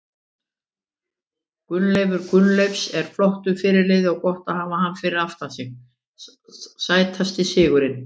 Gunnleifur Gunnleifs er flottur fyrirliði og gott að hafa hann fyrir aftan sig Sætasti sigurinn?